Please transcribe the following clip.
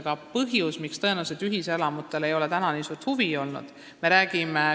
Aga põhjusi, miks ühiselamute vastu ei ole täna tõenäoliselt nii suurt huvi olnud, võib teisigi olla.